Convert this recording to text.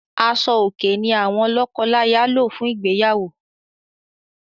Aṣò-òkè ní àwọn lọ́kọláya lò fún ìgbéyàwó.